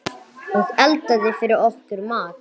Og eldaði fyrir okkur mat.